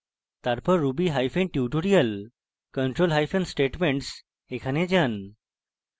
তারপর ruby hyphen tutorial control hyphen statements এ যাই